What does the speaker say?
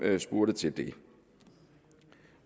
spurgte til det